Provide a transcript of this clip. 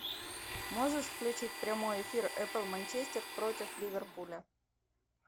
можешь включить прямой эфир апл манчестер против ливерпуля